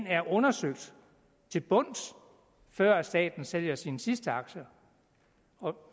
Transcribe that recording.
er undersøges til bunds før staten sælger sine sidste aktier og